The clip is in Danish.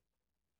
DR2